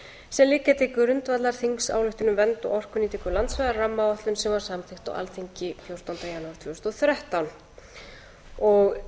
sem liggja til grundvallar þingsályktun um vernd og orkunýtingu landsvæða rammaáætlun sem var samþykkt á alþingi fjórtánda janúar tvö þúsund og